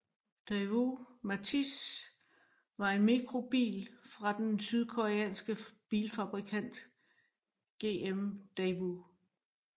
Daewoo Matiz var en mikrobil fra den sydkoreanske bilfabrikant GM Daewoo